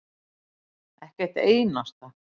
Milla: Ekki eitt einasta.